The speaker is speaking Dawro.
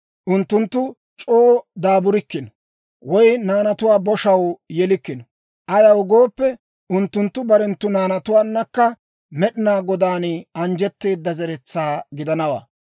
Unttunttu c'oo daaburikkino; woy naanatuwaa boshaw yelikkino; ayaw gooppe, unttunttu barenttu naanatuwaannakka Med'inaa Godaan anjjetteeda zeretsaa gidanawaa.